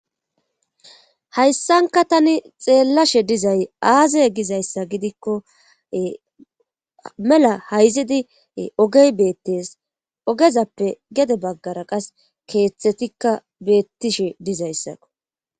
hayssanka tani xeellashe dizay aaze gizayssa gidikko mela hayzidi ogey beettes ogezappe gede baggara qas keeththetikka beettishe dizayssako